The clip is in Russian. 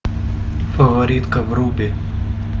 фаворитка вруби